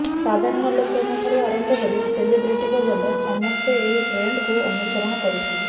ସାଧାରଣ ଲୋକଙ୍କ ଠାରୁ ଆରମ୍ଭ କରି ସେଲିବ୍ରିଟି ପର୍ଯ୍ୟନ୍ତ ସମସ୍ତେ ଏହି ଟ୍ରେଣ୍ଡକୁ ଅନୁସରଣ କରୁଛନ୍ତି